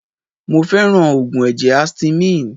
Mo fẹ́ràn Ògùn ẹ̀jẹ̀ Astymin.